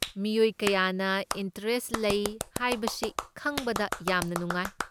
ꯃꯤꯑꯣꯏ ꯀꯌꯥꯅ ꯏꯟꯇꯔꯦꯁꯠ ꯂꯩ ꯍꯥꯏꯕꯁꯤ ꯈꯪꯕꯗ ꯌꯥꯝꯅ ꯅꯨꯡꯉꯥꯏ꯫